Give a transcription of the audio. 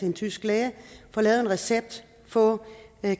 en tysk læge få lavet en recept få